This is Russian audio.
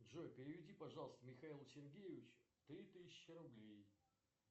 джой переведи пожалуйста михаилу сергеевичу три тысячи рублей